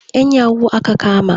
'Yan yahoo aka kama.